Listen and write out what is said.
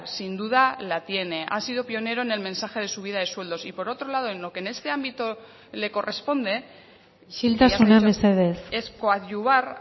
sin duda la tiene ha sido pionero en el mensaje de subida de sueldos y por otro lado en lo que en este ámbito le corresponde isiltasuna mesedez es coadyuvar